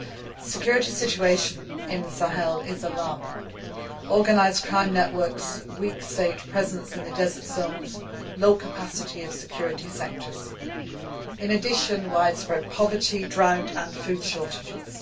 The security situation in the Sahel is alarming organised crime networks, weak state presence in the desert zones and low capacity of security sectors in addition to widespread poverty, drought and food shortages.